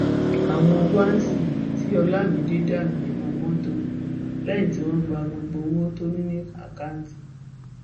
àwọn wáńsí tí olamide dànù nínú mọtò lẹyìn tí wọn gba gbogbo owó tó ní lákáùtì